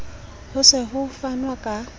ho se ho fanwe ka